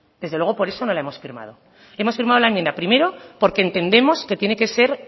desde luego por eso no la hemos firmado hemos firmado la enmienda primero porque entendemos que tiene que ser